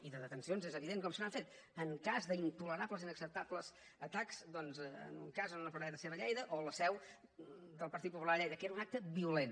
i de detencions és evident que se n’han fet en cas d’intolerables i inacceptables atacs en un cas a una paradeta seva a lleida o a la seu del partit popular a lleida que era un acte violent